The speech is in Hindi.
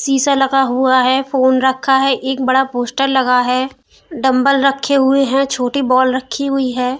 शीशा लगा हुआ है। फोन रखा है। एक बड़ा पोस्टर लगा है। डम्बल रखे हुए हैं। छोटी बॉल रखी हुई है।